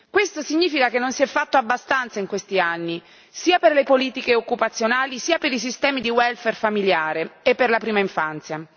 Questo significa che non si è fatto abbastanza in questi anni né per le politiche occupazionali né per i sistemi di welfare familiare e per la prima infanzia.